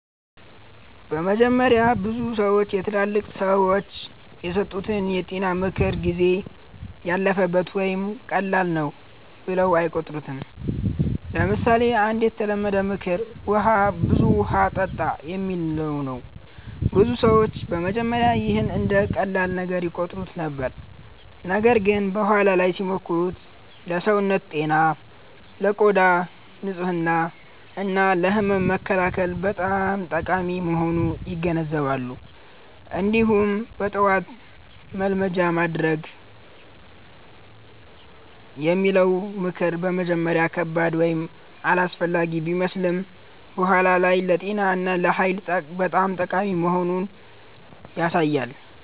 በመጀመሪያ ብዙ ሰዎች የትላልቅ ሰዎች የሰጡትን የጤና ምክር “ጊዜ ያለፈበት” ወይም “ቀላል ነው” ብለው አይቆጥሩትም። ለምሳሌ አንድ የተለመደ ምክር “ብዙ ውሃ ጠጣ” የሚለው ነው። ብዙ ሰዎች በመጀመሪያ ይህን እንደ ቀላል ነገር ይቆጥሩት ነበር፣ ነገር ግን በኋላ ላይ ሲሞክሩት ለሰውነት ጤና፣ ለቆዳ ንጽህና እና ለህመም መከላከል በጣም ጠቃሚ መሆኑን ይገነዘባሉ። እንዲሁም “በጠዋት መልመጃ ማድረግ” የሚለው ምክር በመጀመሪያ ከባድ ወይም አላስፈላጊ ቢመስልም በኋላ ላይ ለጤና እና ለኃይል በጣም ጠቃሚ መሆኑን ያሳያል።